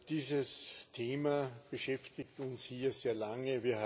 Dieses Thema beschäftigt uns hier sehr lange.